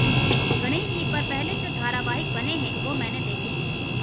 गणेश जी पर पहले जो धारावाहिक बने हैं वे मैंने देखे हैं